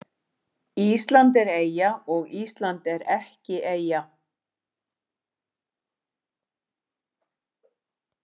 Ísland er eyja og Ísland er ekki eyja